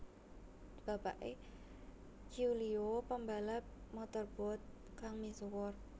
Bapake Giulio pembalap motorboat kang misuwur